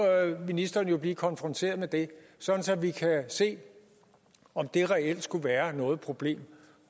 ministeren jo blive konfronteret med det så vi kan se om det reelt skulle være noget problem